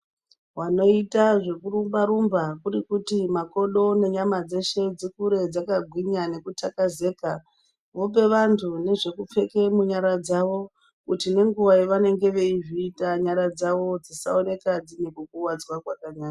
Vanoita zvekurumba-rumba kurikuti makodo nenyama dzeshe dzikure dzakagwinya nekutakazika vope vantu nezvekupfeke munyara dzavo kuti ngenguva yavanenge veizviita nayara dzavo dzisave nekukuwadzwa kwakanyanya.